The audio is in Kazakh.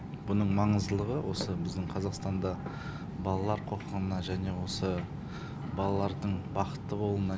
бұның маңыздылығы осы біздің қазақстанда балалар құқығына және осы балалардың бақытты болуына